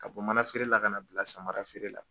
Ka bɔ mana feere la, ka na bila samara feere la.